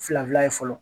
Fila fila ye fɔlɔ